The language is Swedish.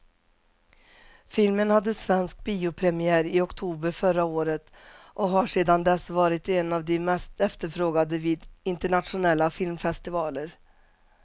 Filmen hade svensk biopremiär i oktober förra året och har sedan dess varit en av de mest efterfrågade vid internationella filmfestivaler.